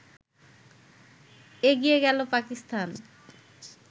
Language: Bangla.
এগিয়ে গেল পাকিস্তান